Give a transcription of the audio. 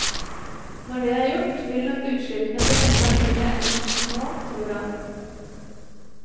Når det er gjort, vil nok utslippene bli enda mindre enn nå, tror han.